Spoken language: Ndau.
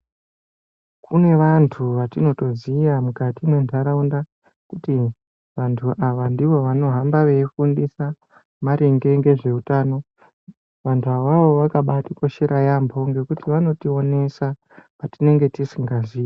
Kune vantu vatinotoziya muntaraunda kuti vantu ava ndiva vanohamba veifundisa maringe ngezveutano vantu avavo vakabatikoshera yambo ngekuti vanotionesa patinenge tisingaziii.